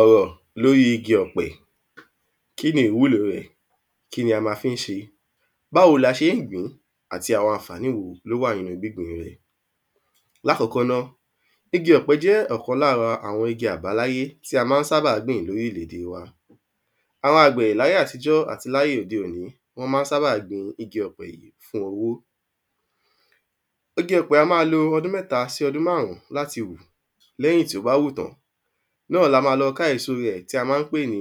ọ̀rọ̀ lóri igi ọ̀pẹ kíni ìwúlo rẹ̀, kíni a ma fi ń ṣe báwo ni a ṣe ń gbìn ín, àti àwọn àǹfàní wo ló wà nínu gbíngbin rẹ̀ lákọ̀ọ́kọ́ ná, igi ọ̀pẹ̀ jẹ́ ọ̀kan lára àwọn igi àbáláyé tí a ma ń sábà gbìn ní orílẹ-ède wa àwọn àgbẹ̀ láye àtijọ́ àti láye òde òní wọ́n ma ń sábà gbin igi ọ̀pẹ̀ yìí fún owó igi ọ̀pẹ̀ á máa lo ọdún mẹ́ta sí ọdún márùn ún láti wù, lẹ́yìn tí ó bá wù tán ni a máa lọ ká èso rẹ̀ tí a ma ń pèé ni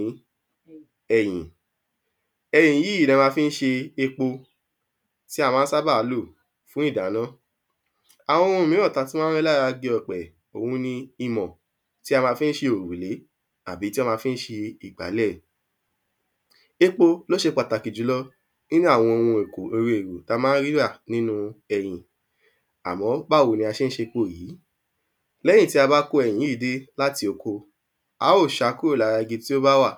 ẹyìn, ẹyìn yìí ni a má ń fi ṣe epo tí a ma ń sábà lò fún ìdáná àwọn ohun míràn tí a tún ma ń rí lára igi ọ̀pẹ̀ òun ni: imọ̀ tí a ma ń fi ṣe òrùlé àbí tí a má fi ń ṣe ìgbálẹ̀ epo ló ṣe pàtàkì jùlọ nínu àwọn ohun èlò tí a ma ń rí rà nínu ẹyìn, àmọ́ báwo ni a ṣe ń ṣe epo yìí lẹ́yìn tí a bá ko ẹyìn dé láti oko a óò ṣà á kúrò lára igi tí ó bá wà,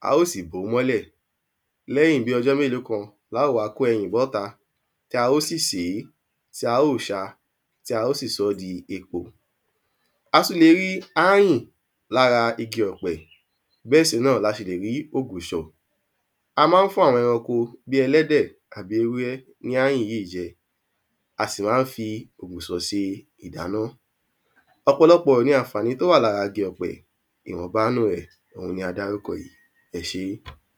a óò sì bòó mọ́lẹ̀, lẹ́yìn bí ọjọ́ mélòó kan ni áà wá kó ẹyìn bọ́ta, tí a ó sì ṣe é, tí a óò sáa, tí a óò sì sọ ẹyìn di epo a tún le rí áyùn lára igi ọ̀pẹ̀, bẹ́ẹ̀ si náà la sì lè rí ògùṣọ̀ a ma ń fún àwọn ẹranko bíi ẹlẹ́dẹ̀, ewúré ní áyùn yìí jẹ, a si ma ń fi ṣe ògùṣọ̀ ṣe ìdáná ọ̀pọ̀lọpọ̀ ni àwọn àǹfàní tí ó wà lára igi ọ̀pẹ̀, ìwọ̀nba nínu rẹ̀ ni a dárúkọ yìí. ẹ sẹ́